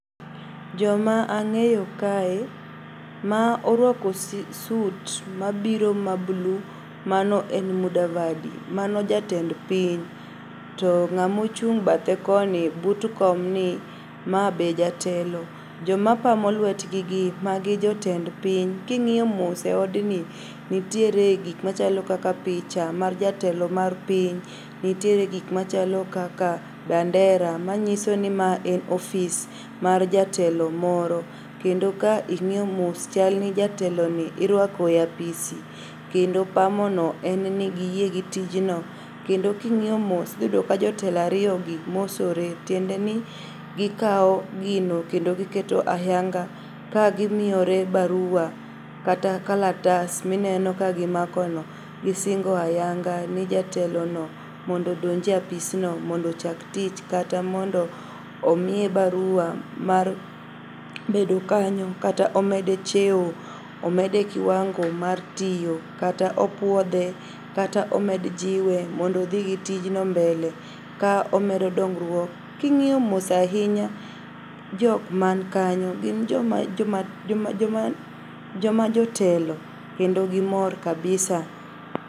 Joma ang'eyo kae ma orwako sut mabiro ma blue mano en Mudavadi. Mano jatend piny to ng'amochung' bathe koni but komni ma be jatelo. Jomapamo lwetgigi magi jotend piny. King'iyo mos e odni nitiere gikmachalo kaka picha mar jatelo mar piny. Nitiere gik machalo kaka bandera manyisoni ma en ofis mar jatelo moro kendo ka ing'iyo mos chalni jateloni irwako e apisi kendo pamono en ni giyie gi tijno kendo king'iyo mos idhiyudo ka jotelo ariyogi mosore tiendeni gikao gino kendo giketo ayanga ka gimiore barua kata kalatas mineno kagimakono. Gisingo ayanga ni jatelono mondo odonje apisno mondo ochak tich kata mondo omiye barua mar bedo kanyo kata omede cheo, omede kiwango mar tiyo kata opuodhe kata omed jiwe mondo odhi gi tijno mbele ka omedo dongruok. King'iyo mos ainya jok mankanyo gin joma, joma, joma jotelo kendo gimor kabisa.